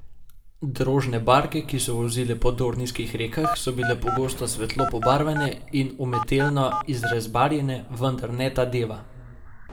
Drožne barke, ki so vozile po dornijskih rekah, so bile pogosto svetlo pobarvane in umetelno izrezbarjene, vendar ne ta deva.